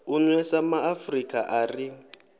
u nwesa maafrika a ri